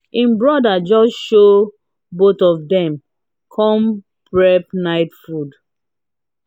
im brother just show both of dem come prep night food